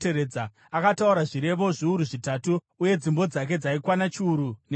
Akataura zvirevo zviuru zvitatu, uye dzimbo dzake dzaikwana chiuru neshanu.